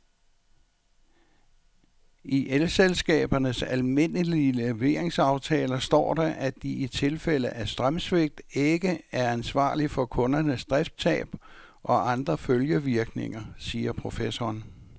I elselskabernes almindelige leveringsaftaler står der, at de i tilfælde af strømsvigt ikke er ansvarlig for kundernes driftstab og andre følgevirkninger, siger professoren.